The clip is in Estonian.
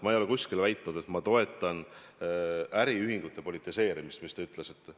Ma ei ole kuskil väitnud, et ma toetan äriühingute politiseerimist, mida te ütlesite.